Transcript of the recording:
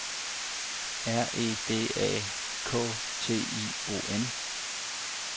R E D A K T I O N